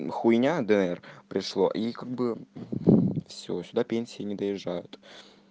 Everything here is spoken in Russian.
хуйня др пришло и как бы все сюда пенсии не доезжают